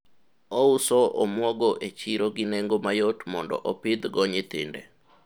uoso omuogo e chiro gi nengo mayot mondo opidhgo nyithinde